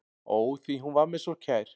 Ó, því hún var mér svo kær.